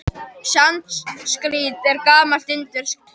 Sanskrít er gamalt indverskt tungumál.